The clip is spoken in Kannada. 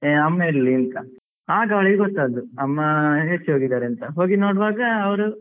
ಏ ಅಮ್ಮ ಎಲ್ಲಿ ಅಂತ ಆಗ ಅವಳಿಗೆ ಗೊತ್ತಾದ್ದು ಅಮ್ಮ ಮೂರ್ಛೆ ಹೋಗಿದ್ದಾರೆ ಅಂತ ಹೋಗಿ ನೋಡ್ವಾಗ ಅವರು